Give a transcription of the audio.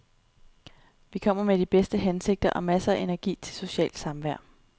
Vi kommer med de bedste hensigter og masser af energi til socialt samvær.